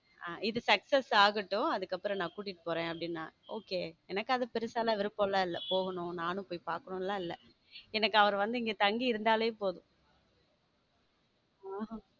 இது sucess ஆகட்டும் அதுக்கப்புறம் நான் கூட்டிட்டு போறேன் அப்பிடினறு okay எனக்கு அது பெருசா எல்லாம் விருப்பமில்லை போகணும் நானும் போய் பாக்கணும் இல்ல எனக்கு அவர் வந்து இங்க தங்கி இருந்தாலே போதும